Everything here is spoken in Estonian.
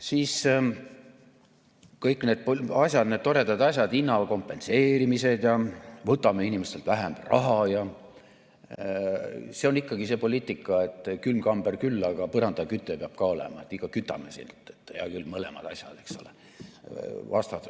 Siis kõik need toredad asjad, hinnakompenseerimised ja see, et võtame inimestelt vähem raha – see on ikkagi see poliitika, et külmkamber küll, aga põrandaküte peab ka olema, ikka kütame, hea küll, mõlemad asjad, eks ole.